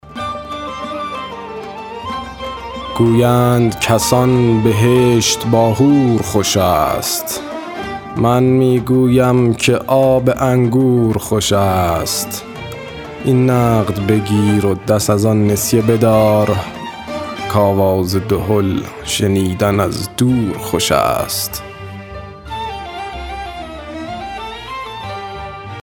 گویند کسان بهشت با حور خوش است من می گویم که آب انگور خوش است این نقد بگیر و دست از آن نسیه بدار که آواز دهل شنیدن از دور خوش است